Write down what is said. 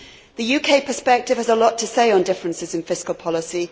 The UK perspective has a lot to say on differences in fiscal policy.